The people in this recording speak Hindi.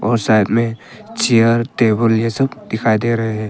और साइड में चेयर टेबल ये सब दिखाई दे रहे हैं।